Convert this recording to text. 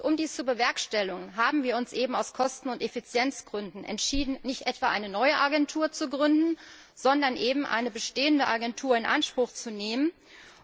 Um dies zu bewerkstelligen, haben wir uns aus Kosten und Effizienzgründen entschieden, nicht etwa eine neue Agentur zu gründen, sondern eine bestehende Agentur in Anspruch zu nehmen